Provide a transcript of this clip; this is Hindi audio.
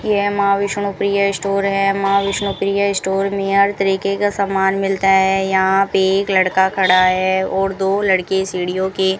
यह मां विष्णु प्रिया स्टोर है मां विष्णु प्रिया स्टोर में हर तरीके का सामान मिलता है यहां पे एक लड़का खड़ा है और दो लड़के सीढ़ियों के --